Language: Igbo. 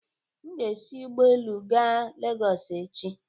M ga-esi ụgbọelu gaa Legọsị echi.